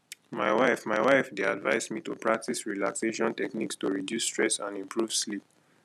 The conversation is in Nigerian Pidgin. my wife my wife dey advise me to practice relaxation techniques to reduce stress and improve sleep